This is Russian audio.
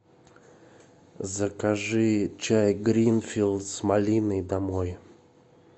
закажи чай гринфилд с малиной домой